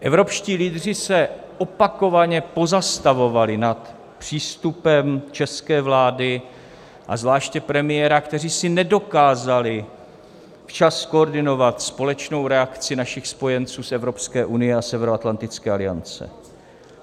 Evropští lídři se opakovaně pozastavovali nad přístupem české vlády a zvláště premiéra, kteří si nedokázali včas zkoordinovat společnou reakci našich spojenců z Evropské unie a Severoatlantické aliance.